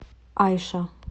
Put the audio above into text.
айша